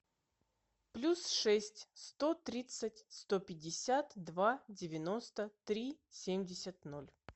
плюс шесть сто тридцать сто пятьдесят два девяносто три семьдесят ноль